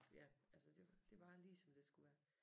Ja altså det det var lige som det skulle være